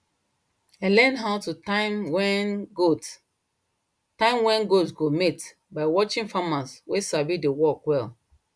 i learn how to time when goat time when goat go mate by watching farmers wey sabi the work well